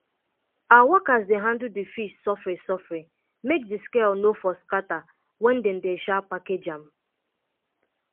our workers dey handle d fish sofri sofri make di scale no for scatter wen dem dey um package um am